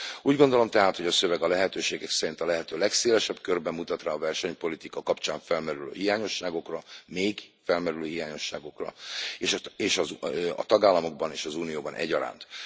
Úgy gondolom tehát, hogy a szöveg a lehetőségek szerint a lehető legszélesebb körben mutat rá a versenypolitika kapcsán felmerülő hiányosságokra, még felmerülő hiányosságokra a tagállamokban és az Unióban egyaránt.